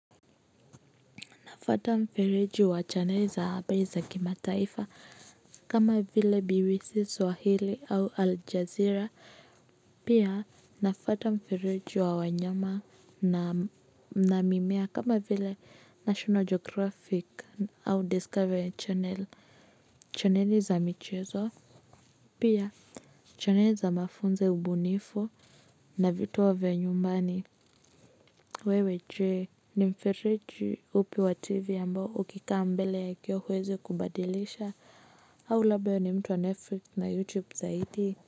Nafata mferiji wa chaneli za abe za kimataifa kama vile BBC Swahili au Al Jazeera. Pia nafata mferiji wa wanyama na mimea kama vile National Geographic au Discovery Channel. Chaneli za michezo pia chaneli za mafunzo ya ubunifu na vitowa vya nyumbani. Wewe je ni mfereji upi wa tv ambao ukikaa mbele ya kioo huwezi kubadilisha. Au labda we ni mtu wa netflix na youtube zaidi.